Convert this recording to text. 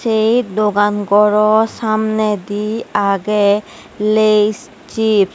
ei dogan gorow samnedi agey lays sips .